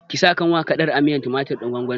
Ki sa kanwa kaɗan a miyar tumatir ɗin gwangwanin!